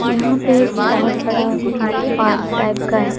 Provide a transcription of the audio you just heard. यहां पे एक बहोत बड़ा पार्क टाइप का है।